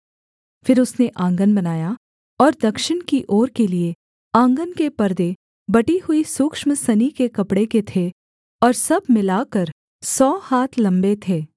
फिर उसने आँगन बनाया और दक्षिण की ओर के लिये आँगन के पर्दे बटी हुई सूक्ष्म सनी के कपड़े के थे और सब मिलाकर सौ हाथ लम्बे थे